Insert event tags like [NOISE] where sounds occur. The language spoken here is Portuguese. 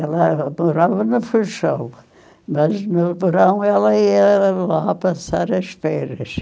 Ela morava na, [UNINTELLIGIBLE] mas no verão ela ia lá passar as feiras.